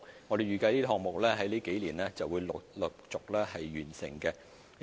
我們預計這些項目在這數年會陸續落成。